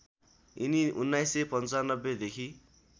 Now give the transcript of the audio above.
यिनी १९९५ देखि